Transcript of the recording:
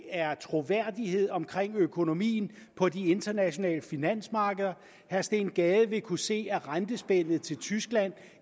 er troværdighed omkring økonomien på de internationale finansmarkeder herre steen gade vil kunne se at rentespændet til tyskland